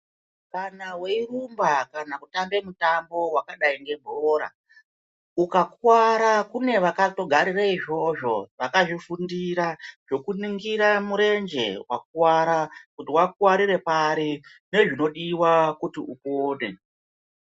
Kana weirumba kana kutambe mutambo wakadai ngebhora, ukakuwara, kune vakatogarire izvozvo, vakazvifundira, zvokuningira murenje wakuwara, kuti wakuwarire pari nezvinodiwa kuti upone.